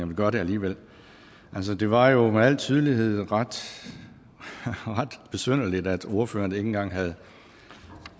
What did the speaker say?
vil gøre det alligevel det var jo med al tydelighed ret besynderligt at ordføreren ikke engang havde